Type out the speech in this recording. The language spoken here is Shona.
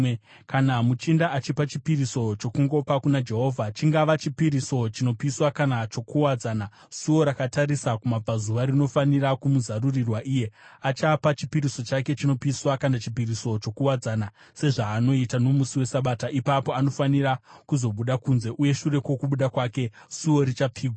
Kana muchinda achipa chipiriso chokungopa kuna Jehovha, chingava chipiriso chinopiswa kana chokuwadzana, suo rakatarisa kumabvazuva rinofanira kumuzarurirwa iye. Achapa chipiriso chake chinopiswa kana chipiriso chokuwadzana sezvaanoita nomusi weSabata. Ipapo anofanira kuzobuda kunze, uye shure kwokubuda kwake, suo richapfigwa.